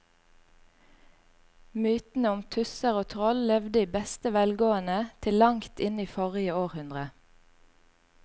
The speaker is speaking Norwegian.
Mytene om tusser og troll levde i beste velgående til langt inn i forrige århundre.